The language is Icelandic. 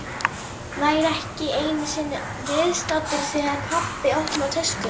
Væri ekki einu sinni viðstaddur þegar pabbi opnaði töskuna.